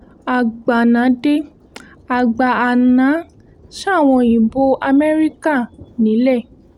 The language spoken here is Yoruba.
agbanah dé àgbààná sáwọn òyìnbó amẹ́ríkà nílẹ̀